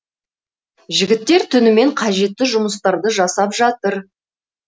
жігіттер түнімен қажетті жұмыстарды жасап жатыр